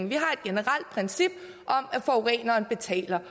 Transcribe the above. vi har et generelt princip om at forureneren betaler